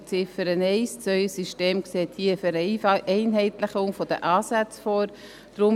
Unter Ziffer 1 wird für das neue System eine Vereinheitlichung der Ansätze vorgesehen.